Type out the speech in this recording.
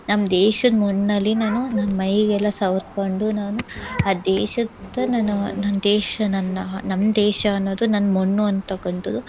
ನಮ್ ದೇಶದ್ ಮಣ್ಣಲ್ಲಿ ನಾನು ನನ್ ಮೈಗೆಲ್ಲಾ ಸವ್ರ್ಕೊಂಡು ನಾನು ಆ ದೇಶದ ನಾನು ನನ್ ದೇಶ ನನ್ನಾ ನಮ್ ದೇಶ ಅನ್ನೋದು ನನ್ ಮಣ್ಣು ಅಂತಕ್ಕಂತದ್ದು